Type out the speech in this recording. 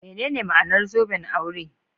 Menene ma'anar zoben aure?